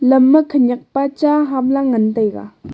lam ma khenyak pa cha ham la ngan taiga.